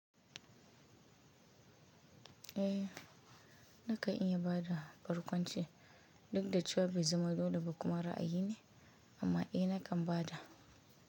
Eh, nakan iyaba da barkwanci duk da cewa bezama dole ba kuma ra'ayi ne amma eh nakan bada.